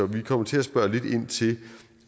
vi kommer til at spørge lidt ind til